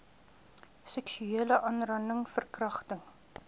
seksuele aanranding verkragting